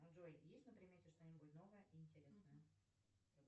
джой есть на примете что нибудь новое и интересное